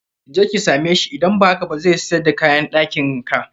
Je ki same sbhi, idan ba haka ba zai siyar da kayan ɗakin ka.